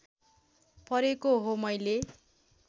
परेको हो मैले